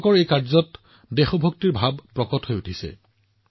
এই কামটো দেশপ্ৰেমমূলক মনোভাৱৰে পৰিপূৰ্ণ